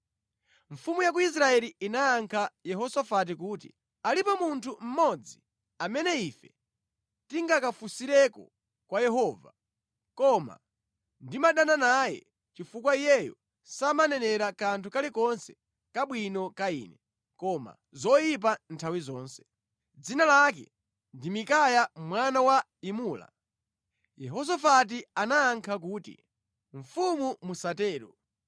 Mfumu ya ku Israeli inayankha Yehosafati kuti, “Alipo munthu mmodzi amene ife tingakafunsire kwa Yehova, koma ndimadana naye chifukwa iyeyo samanenera kanthu kalikonse kabwino ka ine, koma zoyipa nthawi zonse. Dzina lake ndi Mikaya mwana wa Imula.” Yehosafati anayankha kuti, “Mfumu musatero.”